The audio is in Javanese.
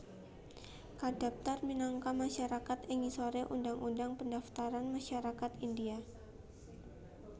kadaptar minangka masyarakat ing ngisore Undang Undang Pendaftaran Masyarakat India